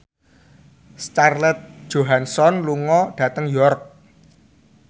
Scarlett Johansson lunga dhateng York